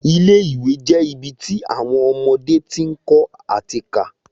Ilé ìwé je ibi ti awọn ọmọdé ti ń kọ́ ati ká